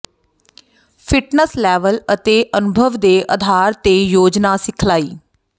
fitness level ਅਤੇ ਅਨੁਭਵ ਦੇ ਆਧਾਰ ਤੇ ਯੋਜਨਾ ਸਿਖਲਾਈ